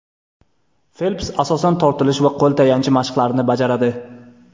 Felps asosan tortilish va qo‘l tayanchi mashqlarini bajaradi.